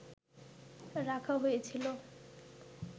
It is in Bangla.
রাখা হয়েছিল